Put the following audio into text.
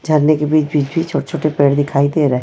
झरने के बीच-बीच भी छोटे-छोटे पेड़ दिखाई दे रहे है।